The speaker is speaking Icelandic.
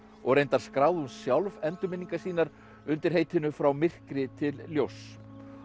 og reyndar skráði hún sjálf endurminningar sínar undir heitinu frá myrkri til ljóss